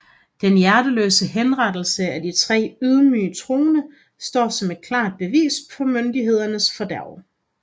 Den hjerteløse henrettelse af de tre ydmyge troende står som et klart bevis på myndighedernes fordærv